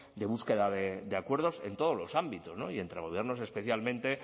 de búsqueda de acuerdos en todos los ámbitos y entre gobiernos especialmente